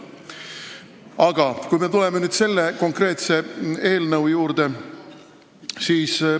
Aga tuleme nüüd selle konkreetse eelnõu juurde.